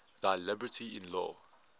thy liberty in law